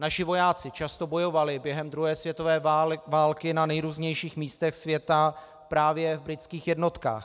Naši vojáci často bojovali během druhé světové války na nejrůznějších místech světa právě v britských jednotkách.